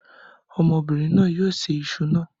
Ọmọbìnrin náà yóò ṣe Isu náà